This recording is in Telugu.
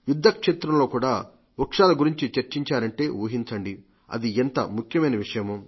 యుద్ధక్షేత్రంలో కూడా వృక్షాలు గురించి చర్చించారంటే ఊహించండి అది ఎంత ముఖ్యమైన విషయమే